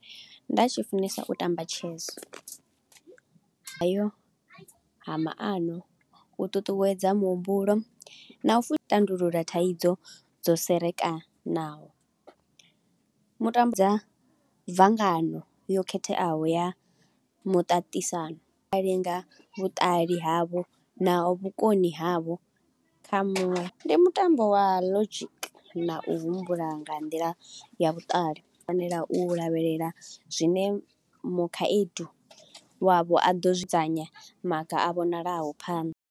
Nda tshi funesa u tamba chess, hayo a maano, u ṱuṱuwedza muhumbulo na u fu tandulula thaidzo dzo serekanaho. Mutambudza bvangano yo khetheaho ya muṱaṱisano, i a linga vhuṱali havho na vhukoni havho kha muṅwe ndi mutambo wa logic na u humbula nga nḓila ya vhuṱali. U fanela u lavhelela zwine mu khaedu wavho a ḓo zwi dzudzanya maga a vhonalaho phanḓa.